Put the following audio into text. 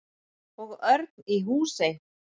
Og Örn í Húsey.